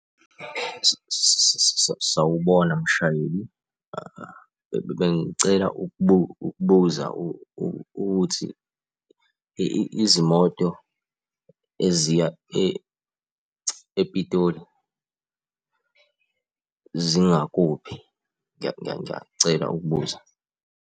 Sawubona mshayeli, bengicela ukubuza ukuthi izimoto eziya ePitoli zingakuphi? Ngiyacela ukubuza.